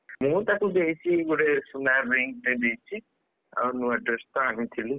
ମୁଁ ତାକୁ ଦେଇଛି ଗୋଟେ ସୁନା ring ଟେଦେଇଛି। ଆଉ ନୂଆ dress ତ ଆଣିଥିଲି।